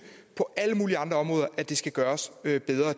på alle mulige andre områder at det skal gøres bedre det